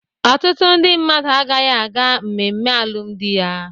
Ọtụtụ ndị mmadu agaghị aga mmemme alụmdi ya.